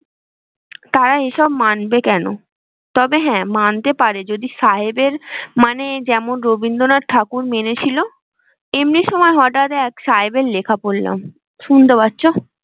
তারা এসব মানবে কেন? তবে হ্যাঁ মানতে পারে যদি সাহেবের মানে যেমন রবীন্দ্রনাথ ঠাকুর মেনেছিল এমনি সময় হঠাতে এক সাহেবের লেখা পড়লাম। শুনতে পাচ্ছ?